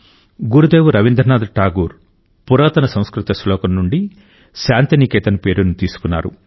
గురుదేవ్ రవీంద్రనాథ్ ఠాగూర్ పురాతన సంస్కృత శ్లోకం నుండి శాంతినికేతన్ పేరును తీసుకున్నారు